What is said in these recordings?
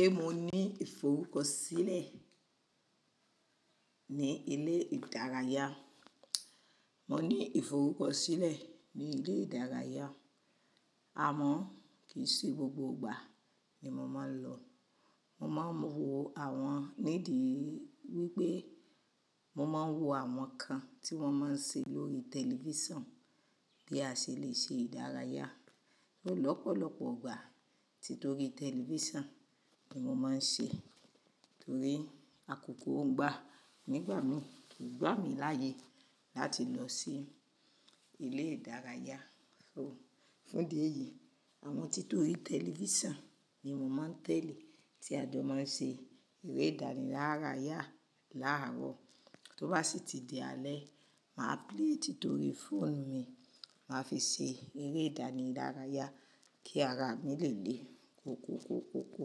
Se mo ní ìforúkọ sílẹ̀ ní ilé ìdárayá, mo ní ìforúkọ sílẹ̀ ní ilé ìdárayá a. Àmọ́ kì í ṣe gbogbo gbà ni mo máa ń lọ. Mo máa ń wo àwọn nídìí wípé mo máa ń wo àwọn kan tí wón máa ń ṣe lórí tẹlifísàn bí a ṣè lè ṣe ìdárayá. Lọ́pọ̀lọpọ̀ ìgbà tí torí tẹlifísàn ni mo máa ń ṣe torí àkókò ń gba. Nígbà mìí kì í gbà mí láyè e láti lọ sí ilé ìdárayá. So fún ẹ̀ yìí, àwọn tí torí tẹlifísàn ni mo máa ń tẹ̀lé tí a tó máa ń ṣe eré ìdánilárayá láàárọ̀. Tó bá sì ti di alẹ́, màá pèé tí torí fóònù mi, màá fi ṣe eré ìdánilárayá kí ara mi lè le kọ kọ kọ kọ kọ.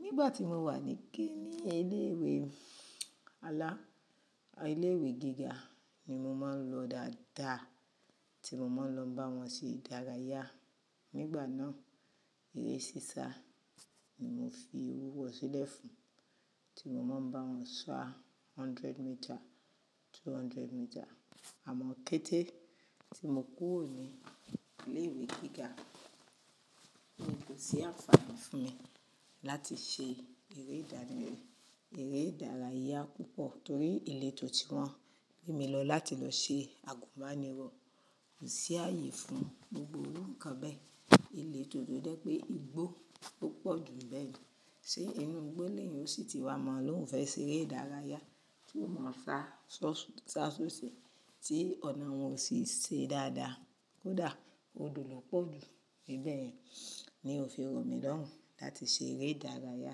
Nígbà tí mo wà níké ní ilé ìwé alá, a ilé ìwé gíga ni mo máa ń lọ dáadáa tí mo máa ń lọ bá wọn ṣe ìdárayá. Nígbà náà, eré sísá ni mo fi ewú wo sílẹ̀ fún, tí mo máa ń bá wọn ṣá hundred meter, two hundred meter. Àmọ́ kété tí mo kúrò ní ilé ìwé gíga, kò sí àǹfààní fún mi láti ṣe eré ìdánì, eré ìdárayá púpọ̀ torí ìletò tí wón mu mi lọ láti lọ ṣe àgùnbánirọ̀ kò sí ààyè fún gbogbo rukan bẹ́ẹ̀. Ìletò tó jẹ́ pé igbó lo pọ̀ jù níbẹ̀ ju. Ṣé inú igbó ni n sì ti wa mọ́ lóun fẹ́ ṣe eré ìdárayá ti mọ sa sọsun, sa sóṣee tí ọ̀nà wọn ò sì ṣe dáadáa. Kódà odò lọ́pọ̀ jù níbẹ̀ yẹn. Ní ò fi rọ̀ mi lọ́run ún láti ṣe eré ìdárayá.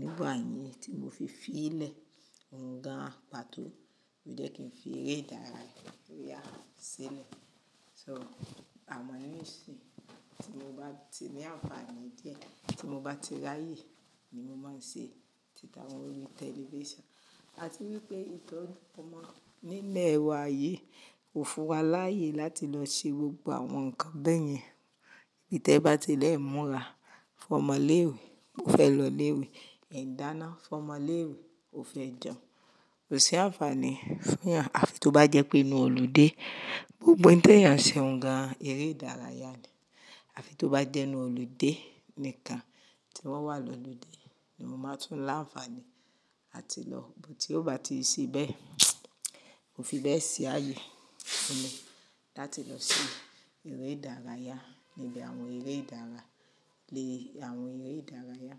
Nígbà yẹn tí mo fi fi lé òǹgà pàtó lo jẹ́ kí n fi eré ìdárayá ya sílẹ̀. So àmọ́ ní ìsìn tí mo bá ti ní àǹfààní díẹ̀ tí mo bá ti ráyè ni mo máa ń ṣe títàwọn orí tẹlifísàn. A ti wipé ìtọ́ni ọmọ nílẹ̀ e wa yìí kò fún wa láàyè láti lọ ṣe gbogbo àwọn nǹkan bẹ́yẹn. N ti e bá ti lẹ́ẹ̀ múra fún ọmọ ilé ìwé, ó fẹ́ lọ ilé ìwé, e n dáná fún ọmọ ilé ìwé, ó fẹ́ jẹun. Kò sí àǹfààní fúnyàn. Àfi tó bá jẹ́ pé inú olùde gbogbo ohun e n tèyàn ṣe ǹ gàn, eré ìdárayá ni. Àfi tó bá jẹ́ inú olùde nikan tí wọ́n wà lọ́ludé ni n máa tún láǹfààní láti lọ. Tí ó bá ti n se bẹ̀e, kò fi bẹ́ẹ̀ ṣi aàyè fún mi láti lọ ṣi eré ìdárayá níbi àwọn eré ìdára, lé àwọn eré ìdárayá.